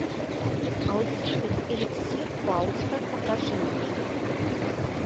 алхимик эликсир фауста покажи мне